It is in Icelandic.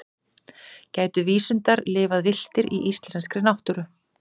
gætu vísundar lifað villtir í íslenskri náttúru